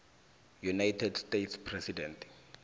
united states president